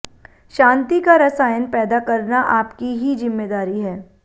शांति का रसायन पैदा करना आपकी ही जिम्मेदारी है